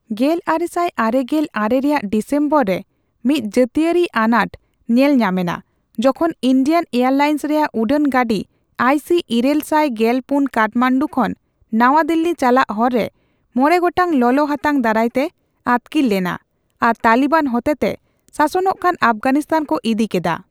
ᱜᱮᱞᱟᱨᱮᱥᱟᱭ ᱟᱨᱮᱜᱮᱞ ᱟᱨᱮ ᱨᱮᱭᱟᱜ ᱰᱤᱥᱮᱢᱵᱚᱨ ᱨᱮ ᱢᱤᱫ ᱡᱟᱹᱛᱟᱭᱟᱹᱨᱤ ᱟᱱᱟᱴ ᱧᱮᱞ ᱧᱟᱢᱮᱱᱟ ᱡᱚᱠᱷᱚᱱ ᱤᱱᱰᱤᱭᱟᱱ ᱮᱭᱟᱨᱞᱟᱭᱮᱱᱥ ᱨᱮᱭᱟᱜ ᱩᱰᱟᱹᱱ ᱜᱟᱹᱰᱤ ᱟᱭᱹ ᱥᱤ ᱤᱨᱟᱹᱞ ᱥᱟᱭ ᱜᱮᱞ ᱯᱩᱱ ᱠᱟᱴᱷᱢᱟᱱᱰᱩ ᱠᱷᱚᱱ ᱱᱟᱣᱟ ᱫᱤᱞᱞᱤ ᱪᱟᱞᱟᱜ ᱦᱚᱨ ᱨᱮ ᱢᱚᱬᱮ ᱜᱚᱴᱟᱝ ᱞᱚᱞᱚᱦᱟᱛᱟᱝ ᱫᱟᱨᱟᱭᱛᱮ ᱟᱹᱛᱠᱤᱨ ᱞᱮᱱᱟ ᱟᱨ ᱛᱟᱞᱤᱵᱟᱱ ᱦᱚᱛᱮᱛᱮ ᱥᱟᱥᱚᱱᱚᱜ ᱠᱟᱱ ᱟᱯᱷᱜᱟᱱᱤᱥᱛᱟᱱ ᱠᱚ ᱤᱫᱤ ᱠᱮᱫᱟ ᱾